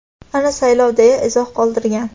Ana saylov, deya izoh qoldirgan.